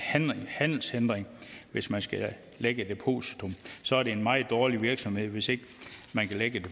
handelshindring hvis man skal lægge et depositum så er det en meget dårlig virksomhed hvis ikke man kan lægge et